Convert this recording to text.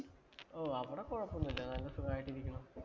ഓ, അവിടെ കൊഴപ്പമോന്നുമില്ല. കാരണം